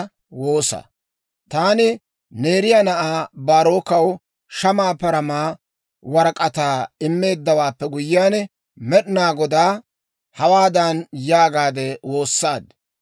Taani Neeriyaa na'aa Baarookkaw shamaa paramaa warak'ataa immeeddawaappe guyyiyaan, Med'inaa Godaa hawaadan yaagaade woossaad;